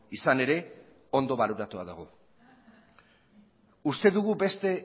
izan ere ondo baloratua dago uste dugu beste